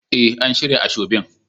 Eh, an shirya asoebin.